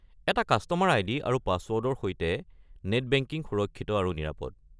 এটা customer ID. আৰু পাছৱৰ্ডৰ সৈতে নেট বেংকিং সুৰক্ষিত আৰু নিৰাপদ।